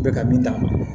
Bɛ ka min d'a ma